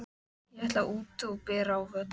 Ég ætla út og bera á völl.